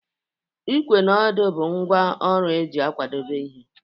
Ikwe na odo bụ ngwa ọrụ eji akwadebe ihe